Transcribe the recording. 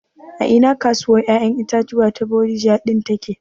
A ina kasuwar ƴaƴan itatuwa ta Bodija ɗin take